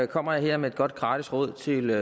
kommer jeg her med et godt gratis råd til